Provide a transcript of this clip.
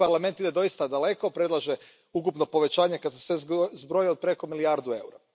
Tu Parlament ide doista daleko, predlaže ukupno povećanje, kad se sve zbroji, od preko milijardu eura.